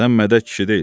Sən mədək kişi deyilsən?